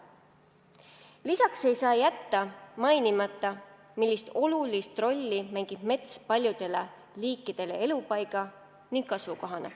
Lisaks ei saa jätta märkimata, millist olulist rolli mängib mets paljudele liikidele elupaiga ning kasvukohana.